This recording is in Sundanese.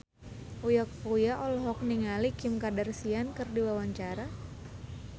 Uya Kuya olohok ningali Kim Kardashian keur diwawancara